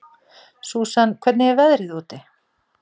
Susan, hvernig er veðrið úti?